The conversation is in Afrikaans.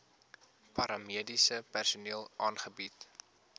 paramediese personeel aangebied